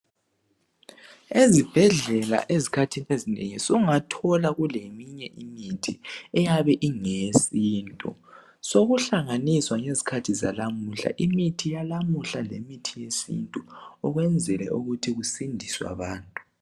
Ezibhedlela ezikhathini ezinengi sungathola kuleminye imithi eyabe ingeyesintu sokuhlanganiswa ngezikhathi zalamuhla imithi yalamuhla lemithi yesintu ukwenzela ukuthi kusindiswe abantu.